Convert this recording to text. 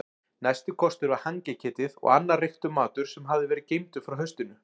Næsti kostur var hangiketið og annar reyktur matur sem hafði verið geymdur frá haustinu.